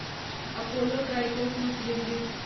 Apollo Tricoat tubes limited